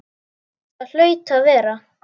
Það hlaut að vera.